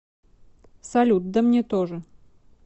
салют да мне тоже